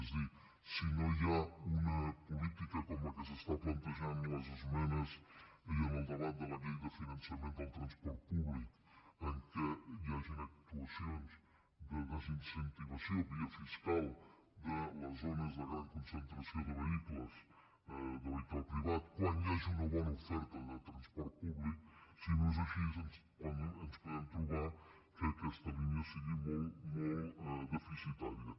és a dir si no hi ha una política com la que s’està plantejant en les esmenes i en el debat de la llei de finançament del transport públic que hi hagin actuacions de desincentivació via fiscal de les zones de gran concentració de vehicles de vehicle privat quan hi hagi una bona oferta de transport públic si no és així ens podem trobar que aquesta línia sigui molt deficitària